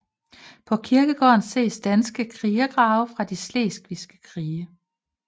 På kirkegården ses danske krigergrave fra de slesvigske krige